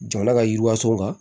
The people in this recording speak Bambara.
Jamana ka yiriwas kan